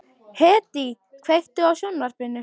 Hedí, kveiktu á sjónvarpinu.